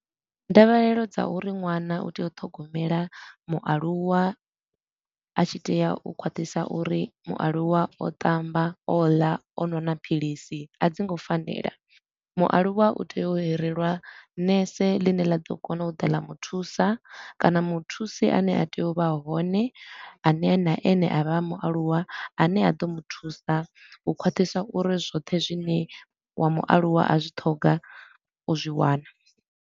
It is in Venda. Ndavhelelo dza uri ṅwana u tea u ṱhogomela mualuwa a tshi tea u khwaṱhisa uri mualuwa o ṱamba, o ḽa, o nwa na philisi, a dzi ngo fanela. Mualuwa u tea u hirelwa nese ḽine ḽa ḓo kona u ḓa ḽa muthusa kana muthusi a ne a tea u vha hone, a ne na ene a vha a mualuwa, a ne a ḓo muthusa u khwathiswa uri zwoṱhe zwine wa mualuwa a zwi ṱhoga o zwi wana.